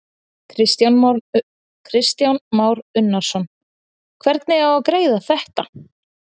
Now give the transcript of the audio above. Kristján Már Unnarsson: Hvernig á að greiða þetta?